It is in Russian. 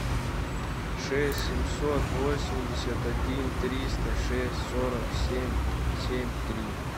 шесть семьсот восемьдесят один триста шесть сорок семь семь три